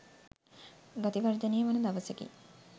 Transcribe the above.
ගති වර්ධනය වන දවසකි.